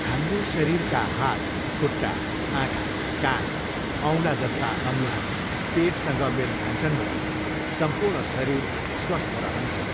हाम्रो शरीरका हात, खुट्टा, आँखा, कान, औँला जस्ता अङ्गहरू पेटसँग मेल खान्छन् भने सम्पूर्ण शरीर स्वस्थ रहन्छ ।